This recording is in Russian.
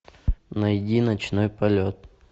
найди ночной полет